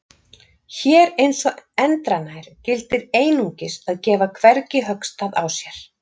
Hér eins og endranær gildir einungis að gefa hvergi höggstað á sér.